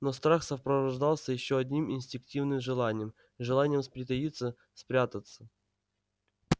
но страх сопровождался ещё одним инстинктивным желанием желанием притаиться спрятаться